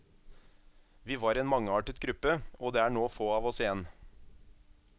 Vi var en mangeartet gruppe, og det er nå få av oss igjen.